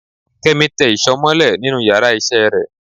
Kemi tẹ́ ìsọ molẹ̀ nínù íyarà iṣẹ re